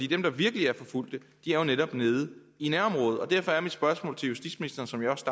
dem der virkelig er forfulgte er jo netop nede i nærområdet og derfor er mit spørgsmål til justitsministeren som jeg også